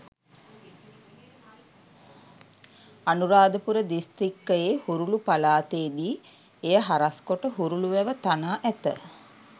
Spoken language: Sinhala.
අනුරාධපුර දිස්ත්‍රික්කයේ හුරුලු පළාතේ දී එය හරස් කොට හුරුලු වැව තනා ඇත.